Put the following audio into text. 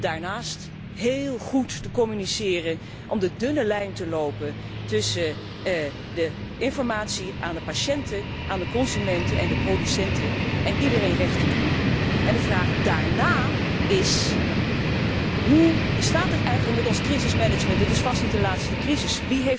Daarnaast moeten we vooral heel goed communiceren om de dunne lijn te lopen tussen de informatie aan de patiënten, aan de consumenten en aan de producenten en iedereen recht te doen. De vraag daarna is hoe staat het eigenlijk met ons crisismanagement? Het is vast niet de laatste crisis.